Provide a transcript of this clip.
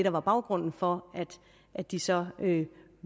der var baggrunden for at de så